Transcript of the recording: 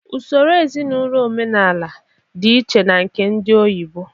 Usoro ezinaụlọ omenala di iche na nke ndị oyibo